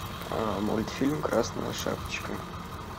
мультфильм красная шапочка